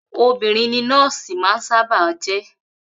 Obìnrin ni nọ́ọ̀sì máa ń sábà á jẹ́